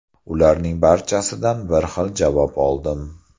Ularning barchasidan bir xil javob oldim.